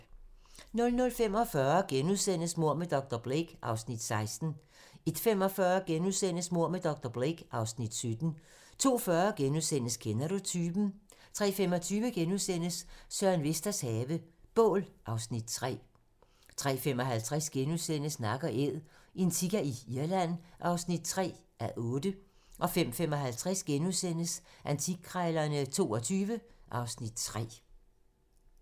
00:45: Mord med dr. Blake (Afs. 16)* 01:45: Mord med dr. Blake (Afs. 17)* 02:40: Kender du typen? * 03:25: Søren Vesters have - bål (Afs. 3)* 03:55: Nak & Æd - en sika i Irland (3:8)* 05:55: Antikkrejlerne XXII (Afs. 3)*